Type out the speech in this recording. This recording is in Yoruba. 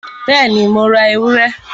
Bẹ́ẹ̀ni, Mo ra ewúrẹ?